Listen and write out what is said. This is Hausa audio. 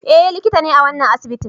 Eh likita ne a wannan asibitin